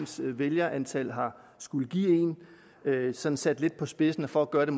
som vælgerantallet har skullet give en sådan sat lidt på spidsen og for at gøre det